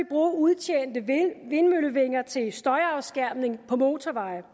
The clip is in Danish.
bruge udtjente vindmøllevinger til støjafskærmning på motorvejene